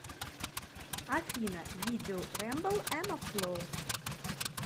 афина видео рэмбл эмафло